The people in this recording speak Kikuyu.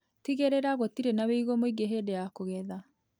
Tigĩrĩra gũtirĩ na wĩigũ mũingĩ hĩndĩ ya kũgetha.